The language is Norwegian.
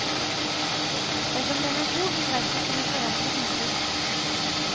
Dersom den er god, vil verket kunne forandre inntrykk.